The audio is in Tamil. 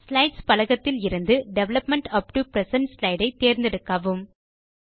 ஸ்லைட்ஸ் பலகத்திலிருந்து development up to present slide ஐ தேர்ந்தெடுக்கவும்